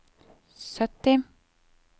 sytti